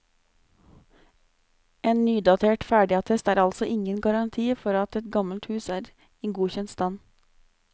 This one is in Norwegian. En nydatert ferdigattest er altså ingen garanti for at et gammelt hus er i godkjent stand.